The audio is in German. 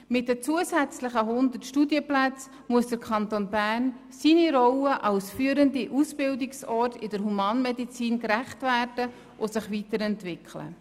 Mit den zusätzlichen 100 Studienplätzen muss der Kanton Bern seiner Rolle als führendem Ausbildungsort in der Humanmedizin gerecht werden und sich weiterentwickeln.